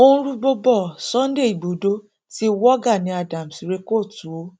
ó ń rúgbòó bo sunday igbodò ti wọ gani adams rẹ kóòtù o